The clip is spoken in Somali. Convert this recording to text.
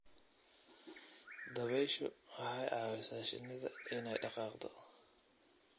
Dabayshu waxay caawisaa shinida inay dhaqaaqdo.